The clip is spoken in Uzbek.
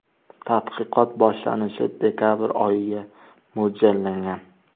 Tadqiqot boshlanishi dekabr oyiga mo‘ljallangan.